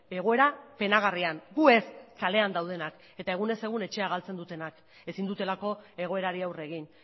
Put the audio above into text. egoera penagarrian gu ez kalean daudenak eta egunez egun etxea galtzen dutenak ezin dutelako egoerari aurre egin